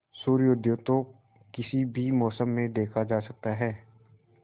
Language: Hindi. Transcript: सूर्योदय तो किसी भी मौसम में देखा जा सकता है